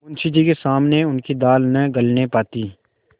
मुंशी जी के सामने उनकी दाल न गलने पाती